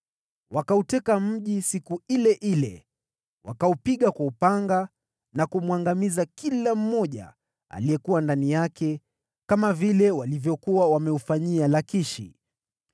Wakauteka mji huo siku ile ile, wakaupiga kwa upanga na kumwangamiza kila mmoja aliyekuwa ndani yake, kama vile walivyokuwa wameufanyia Lakishi.